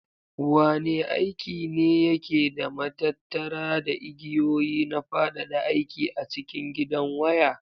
Wane aiki ne yake da matattara da igiyoyi na fadada aiki a cikin gidan waya?